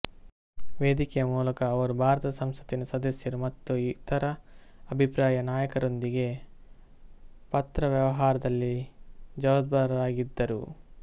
ವೇದಿಕೆಯ ಮೂಲಕ ಅವರು ಭಾರತದ ಸಂಸತ್ತಿನ ಸದಸ್ಯರು ಮತ್ತು ಇತರ ಅಭಿಪ್ರಾಯ ನಾಯಕರೊಂದಿಗೆ ಪತ್ರವ್ಯವಹಾರದಲ್ಲಿ ಜವಾಬ್ದಾರರಾಗಿದ್ದರು